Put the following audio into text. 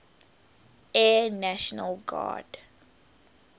air national guard